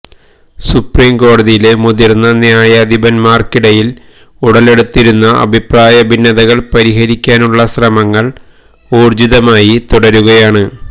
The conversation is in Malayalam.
സുപ്രീംകോടതിയിലെ മുതിര്ന്ന ന്യായാധിപര്ക്കിടയില് ഉടലെടുത്തിരിക്കുന്ന അഭിപ്രായ ഭിന്നതകള് പരിഹരിക്കാനുള്ള ശ്രമങ്ങള് ഊര്ജ്ജിതമായി തുടരുകയാണ്